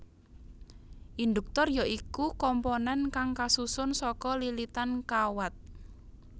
Induktor ya iku komponen kang kasusun saka lilitan kawat